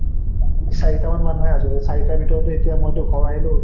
চাৰিটামান মানুহে আছো, চাৰিটাৰ ভিতৰতো এতিয়া মই টো ঘৰ আহিলো